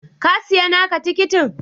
Ka siya naka tikitin?